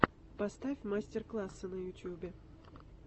поставь мастер классы на ютубе